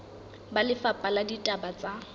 ba lefapha la ditaba tsa